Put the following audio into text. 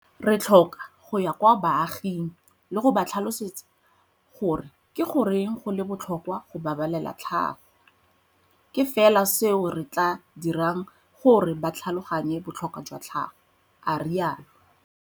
Re tlhoka go ya kwa baaging le go ba tlhalosetsa gore ke goreng go le botlhokwa go babalela tlhago. Ke fela seo se tla dirang gore ba tlhaloganye botlhokwa jwa tlhago, a rialo.